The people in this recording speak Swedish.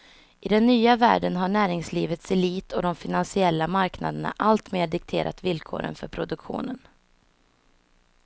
I den nya världen har näringslivets elit och de finansiella marknaderna alltmer dikterat villkoren för produktionen.